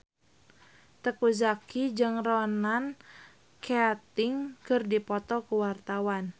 Teuku Zacky jeung Ronan Keating keur dipoto ku wartawan